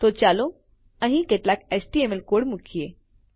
તો ચાલો અહીં કેટલાક એચટીએમએલ કોડ મુકીએ